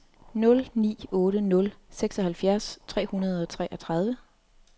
nul ni otte nul seksoghalvfjerds fire hundrede og treogtredive